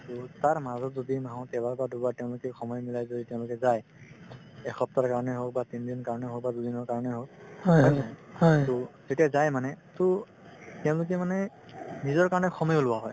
তাৰমাজত যদি মাহত এবাৰ বা দুবাৰ তেওঁলোকে সময় মিলাই যদি তেওঁলোকে যায় এসপ্তাহৰ কাৰণে হওক বা তিনদিনৰ কাৰণে হওক বা দুদিনৰ কাৰণে হওক to তেতিয়া যায় মানে to তেওঁলোকে মানে নিজৰ কাৰণে সময় উলিওৱা হয়